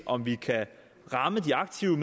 om vi kan ramme de aktive